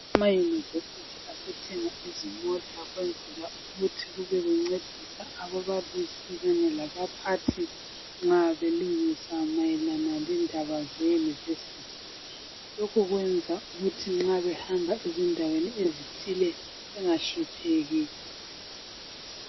Ama University asethenga izimota ezithile ukwenzela ukuthi kube kuncedisa ababalisi kanye labaphathi nxa belungisa mayelana lendaba ze University. Lokhu kwenza ukuthi nxa behamba endaweni ezithile bengahlupheki.